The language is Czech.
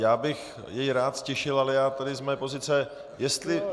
Já bych jej rád ztišil, ale já tady z mé pozice...